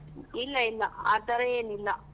ಇಲ್ಲ ಇಲ್ಲ ಆತರ ಏನಿಲ್ಲ.